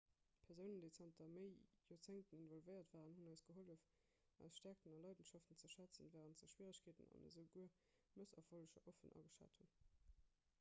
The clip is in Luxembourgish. persounen déi zanter méi joerzéngten involvéiert waren hunn eis gehollef eis stäerkten a leidenschaften ze schätzen wärend se schwieregkeeten an esouguer mësserfolleger offen ageschat hunn